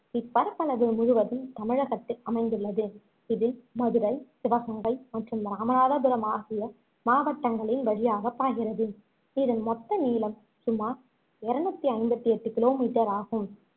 இப்பரப்பளவு முழுவதும் தமிழகத்தில் அமைந்துள்ளது இது மதுரை சிவகங்கை மற்றும் இராமநாதபுரம் ஆகிய மாவட்டங்களின் வழியாகப் பாய்கிறது இதன் மொத்த நீளம் சுமார் இருநூத்தி ஐம்பத்தி எட்டு kilometer ஆகும்